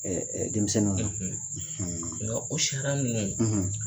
denmisɛnnin na nga o sariya ninnu